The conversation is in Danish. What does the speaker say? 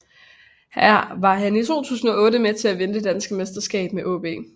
Her var han i 2008 med til at vinde det danske mesterskab med AaB